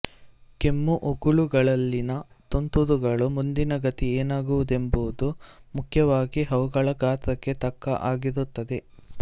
ಕೆಮ್ಮು ಉಗುಳುಗಳಲ್ಲಿನ ತುಂತುರುಗಳ ಮುಂದಿನ ಗತಿ ಏನಾಗುವುದೆಂಬುದು ಮುಖ್ಯವಾಗಿ ಅವುಗಳ ಗಾತ್ರಕ್ಕೆ ತಕ್ಕ ಹಾಗಿರುತ್ತದೆ